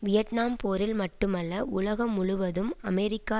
Vietnam போரில் மட்டுமல்ல உலகம் முழுவதும் அமெரிக்க